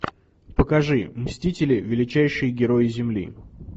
покажи мстители величайшие герои земли